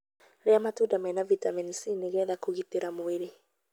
Ria matunda mena vitamini C nĩ getha kũgitĩra mwĩrĩ.